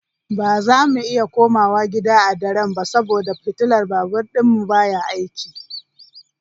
Ba za mu iya komawa gida a daren ba saboda fitilar babur ɗinmu baya aiki.